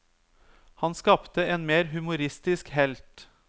Han skapte en mer humoristisk helt.